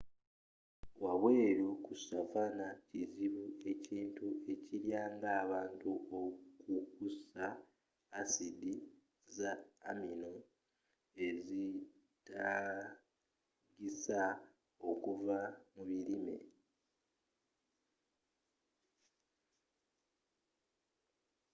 wabweru ku savanna kizibu ekintu ekirya ng'abantu okukussa asidi za amino ezetaagisa okuva mu birime